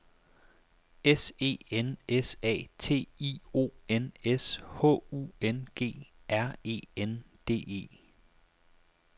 S E N S A T I O N S H U N G R E N D E